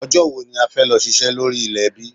Ọjọ́ wò ní a fẹ́ lọ ṣiṣẹ́ lórí ilẹ̀ ẹbí?